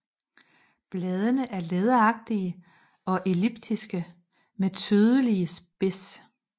Bladene er læderagtige og elliptiske med tydelig spids